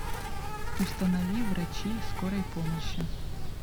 установи врачи скорой помощи